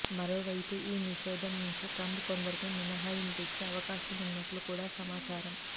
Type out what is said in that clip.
మరోవైపు ఈ నిషేధం నుంచి ట్రంప్ కొందరికి మినహాయింపునిచ్చే అవకాశం ఉన్నట్లు కూడా సమాచారం